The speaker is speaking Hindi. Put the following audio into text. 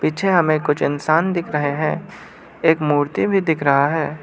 पीछे हमे कुछ इंसान दिख रहे हैं एक मूर्ति भी दिख रहा है।